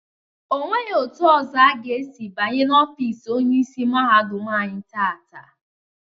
Onweghi etu ọzọ aga esi banye na ofiisi Onyeisi mahadum anyị taata.